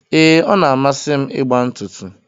Ee, ọ na amasi m ịgba ntụtụ.